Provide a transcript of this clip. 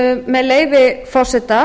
með leyfi forseta